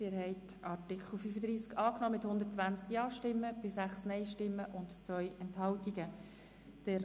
Sie haben dem Artikel 37 mit 119 Ja- gegen 5 Nein-Stimmen bei 4 Enthaltungen zugestimmt.